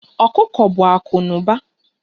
Okuko bụ akụ na ụba.